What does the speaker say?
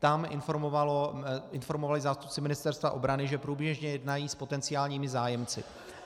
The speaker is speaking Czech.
Tam informovali zástupci Ministerstva obrany, že průběžně jednají s potenciálními zájemci.